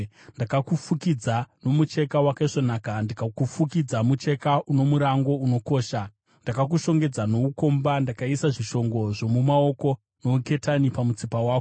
Ndakakufukidza nomucheka wakaisvonaka ndikakufukidza mucheka uno murango unokosha. Ndakakushongedza noukomba: ndikaisa zvishongo zvomumaoko nouketani pamutsipa wako,